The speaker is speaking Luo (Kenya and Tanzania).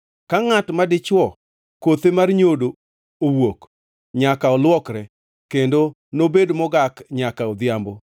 “ ‘Ka ngʼat madichwo kothe mar nyodo owuok, nyaka olwokre, kendo nobed mogak nyaka odhiambo.